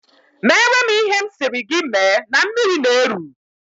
Meere m ihe m sịrị gị mee na mmiri na-eru!